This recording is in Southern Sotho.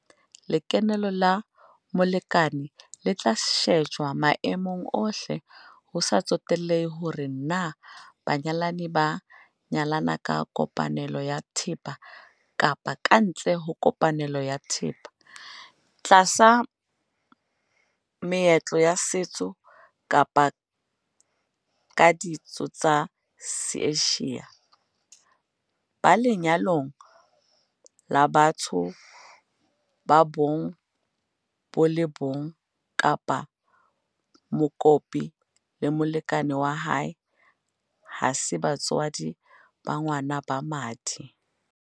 Lekeno la molekane le tla shejwa maemong ohle - ho sa tsotelehe hore na banyalani ba nyalane ka kopanelo ya thepa kapa kantle ho kopanelo ya thepa, tlasa meetlo ya setso kapa ka ditso tsa Seasia, ba lenyalong la batho ba bong bo le bong kapa mokopi le molekane wa hae ha se batswadi ba ngwana ba madi.